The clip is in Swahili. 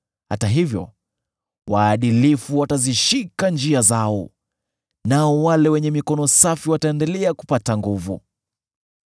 Hata hivyo, waadilifu watazishika njia zao, nao wale wenye mikono safi wataendelea kupata nguvu.